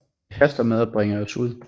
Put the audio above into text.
Det haster med at bringe os ud